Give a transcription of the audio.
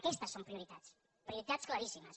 aquestes són prioritats prioritats claríssimes